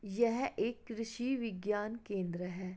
यह एक कृषि विज्ञान केंद्र है।